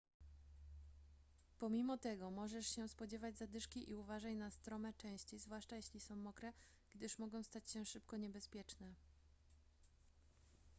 pomimo tego możesz się spodziewać zadyszki i uważaj na strome części zwłaszcza jeśli są mokre gdyż mogą stać się szybko niebezpieczne